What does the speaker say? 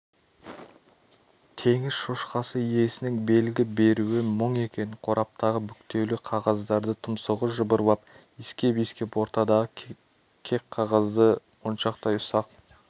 теңіз шошқасы иесінің белгі беруі мұң екен қораптағы бүктеулі қағаздарды тұмсығы жыбырлап иіскеп-иіскеп ортадағы кек қағазды моншақтай ұсақ